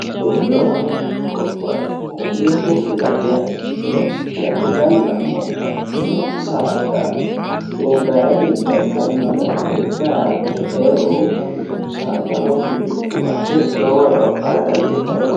Dubbo dolama hooguha ikkiro dubbu lattiha ikkiro Gaxiggala babbaxittino saada gobbayidi dagganori hakkohe daa'atte eo uyitano saada nafinni lae lowo eo aaha danidittano